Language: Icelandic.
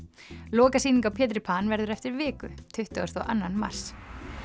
lokasýning á Pétri Pan verður eftir viku tuttugasta og annan mars